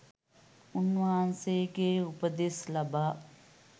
උන්වහන්සේගේ උපදෙස් ලබා